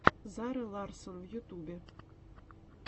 зара ларссон в ютюбе